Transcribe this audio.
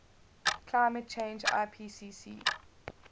climate change ipcc